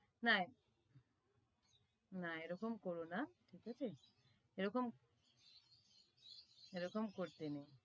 না না এরকম করোনা ঠিক আছে এরকম এরকম করতে নেই